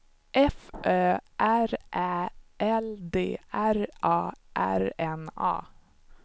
F Ö R Ä L D R A R N A